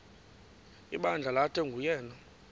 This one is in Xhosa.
ibandla lathi nguyena